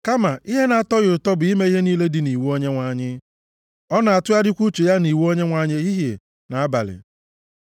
Kama ihe na-atọ ya ụtọ bụ ime ihe niile dị nʼiwu Onyenwe anyị. Ọ na-atụgharịkwa uche ya nʼiwu Onyenwe anyị ehihie na abalị,